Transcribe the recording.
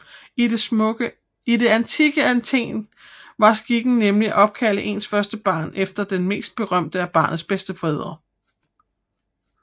I det antikke Athen var skikken nemlig at opkalde ens første barn efter den mest berømte af barnets bedstefædre